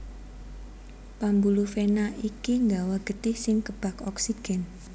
Pambuluh vena iki nggawa getih sing kebak oksigen